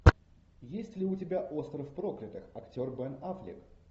есть ли у тебя остров проклятых актер бен аффлек